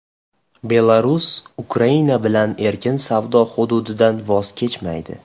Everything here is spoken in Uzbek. Belarus Ukraina bilan erkin savdo hududidan voz kechmaydi.